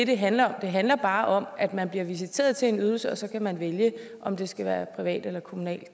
det handler om det handler bare om at man bliver visiteret til en ydelse og så kan man vælge om det skal være privat eller kommunen